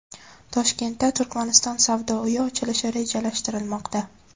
Toshkentda Turkmaniston savdo uyi ochilishi rejalashtirilmoqda.